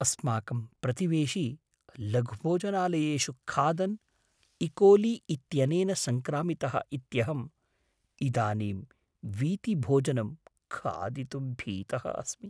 अस्माकं प्रतिवेशी लघुभोजनालयेषु खादन् इकोली इत्यनेन सङ्क्रामितः इत्यहम् इदानीं वीथिभोजनं खादितुं भीतः अस्मि।